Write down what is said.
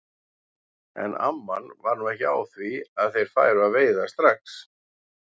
En amman var nú ekki á því að þeir færu að veiða strax.